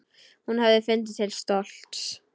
Hún hefði fundið til stolts.